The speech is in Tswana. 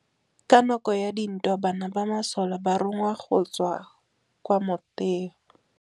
Ka nakô ya dintwa banna ba masole ba rongwa go tswa kwa mothêô.